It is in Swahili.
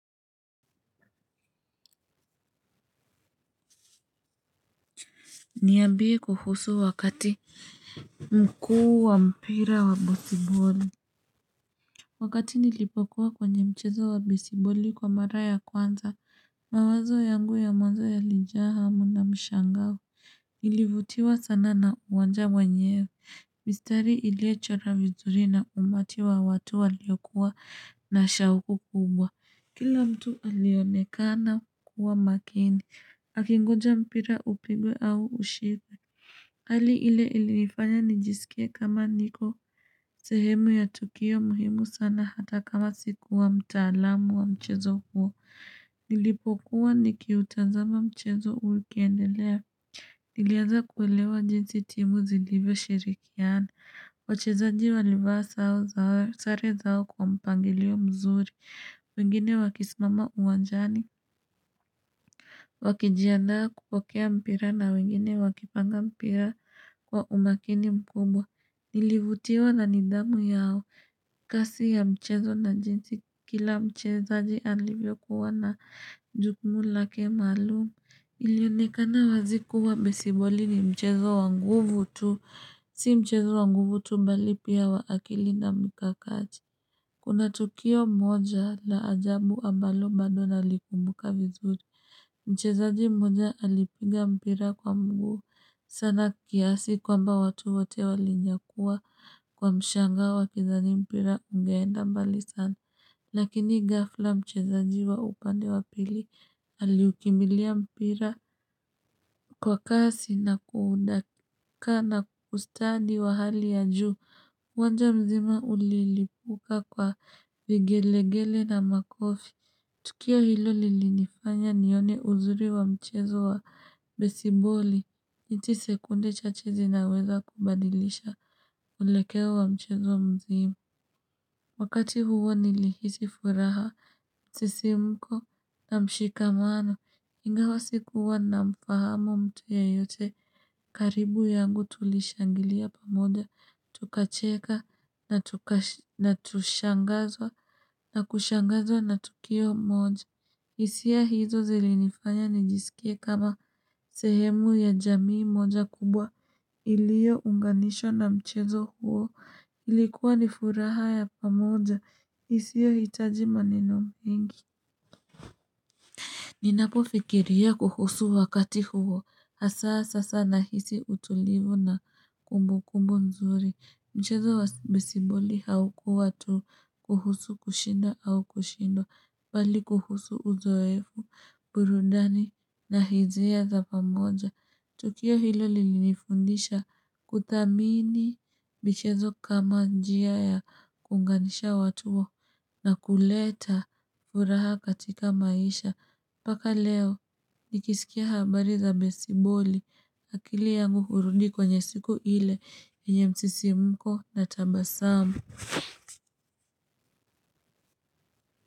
Niambiee kuhusu wakati mkuu wa mpira wa besiboli Wakati nilipokuwa kwenye mchezo wa besiboli kwa mara ya kwanza, mawazo yangu ya mwanza yalijaa hamu na mshangao Nilivutiwa sana na uwanja wenyewe, mistari iliyochorwa vizuri na umati wa watu waliokuwa na shauku kubwa Kila mtu alionekana kuwa makini, akingonja mpira upigwe au ushikwe Hali ile ilifanya nijisikie kama niko sehemu ya Tokyo muhimu sana hata kama siku wa mtaalamu wa mchezo huo. Nilipokuwa nikiutazama mchezo ukiendelea. Nilianza kuelewa jinsi timu zilivyo shirikiana. Wachezaji walivaa sare zao kwa mpangilio mzuri. Wengine wakisimama uwanjani. Wakijiandaa kupokea mpira na wengine wakipanga mpira kwa umakini mkumbwa Nilivutiwa na nidhamu yao kazi ya mchezo na jinsi kila mchezaji alivyokuwa na jukumu lake maalum Ilionekana wazi kuwa besiboli ni mchezo wanguvu tu Si mchezo wa nguvu tu mbali pia wa akili na mkakati Kuna tukio moja la ajabu ambalo bado nalikumbuka vizuri Mchezaji mmoja alipiga mpira kwa mguu sana kiasi kwamba watu wote walinyakua kwa mshangao wa kizani mpira ungeenda mbali sana. Lakini ghafla mchezaji wa upande wa pili aliukimbilia mpira kwa kasi na kuudaka na ustadi wa hali ya juu uwanja mzima ulilipuka kwa vigelegele na makofi. Tukio hilo lilinifanya nione uzuri wa mchezo wa besiboli. Hizii sekunde chache zinaweza kubadilisha mwelekeo wa mchezo mzima. Wakati huo nilihisi furaha, msisimuko na mshikamano. Ingawa sikuwa namfahamu mtu yeyote. Karibu yangu tulishangilia pamoja. Tukacheka na tukashangazwa na kushangazwa na tukio moja. Hisia hizo zilinifanya nijisikie kama sehemu ya jamii moja kubwa ilio unganisho na mchezo huo ilikuwa ni furaha ya pamoja isiohitaji maneno mengi. Ninapofikiria kuhusu wakati huo hasa sasa nahisi utulivu na kumbu kumbu nzuri. Mchezo wa besiboli haukuwa tu kuhusu kushinda au kushindwa, bali kuhusu uzoefu, burudani na hisia za pamoja. Tukio hilo lilinifundisha kudhamini michezo kama njia ya kuunganisha watu na kuleta furaha katika maisha. Mpaka leo nikisikia habari za besiboli. Akili yangu hurudi kwenye siku ile yenye msisimuko na tabasamu.